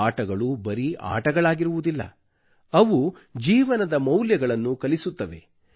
ಆಟಗಳು ಬರೀ ಆಟಗಳಾಗಿರುವುದಿಲ್ಲ ಅವು ಜೀವನದ ಮೌಲ್ಯಗಳನ್ನು ಕಲಿಸುತ್ತವೆ